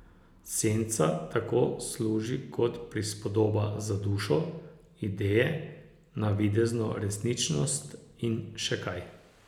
Senca tako služi kot prispodoba za dušo, ideje, navidezno resničnost in še kaj.